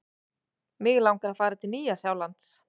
Mig langar að fara til Nýja-Sjálands.